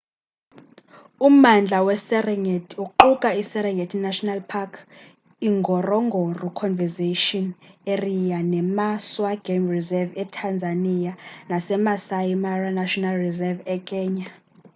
ummandla weserengeti uquka i-serengeti national park ingorongoro conservation area nemaswa game reserve etanzania nasemaasai mara national reserve ekenya